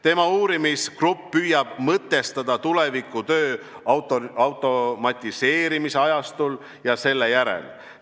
Tema uurimisgrupp püüab mõtestada tuleviku tööd automatiseerimise ajastul ja selle järel.